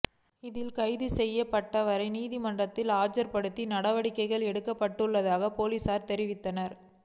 இதில் கைது செய்யப்பட்டவரை நீதிமன்றில் ஆஜர்படுத்த நடவடிக்கை எடுக்கப்பட்டுள்ளதாக பொலிஸார் தெரிவித்தனர்